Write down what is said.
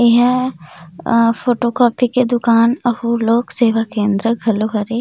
एहा photocopy के दुकान अहु लोग सेवा केंद्र घलो हरे।